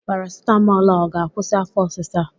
Parasitamọl a ọ ga-akwụsị afọ ọsisa a?